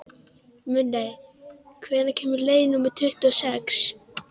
Minney, hvenær kemur leið númer tuttugu og sex?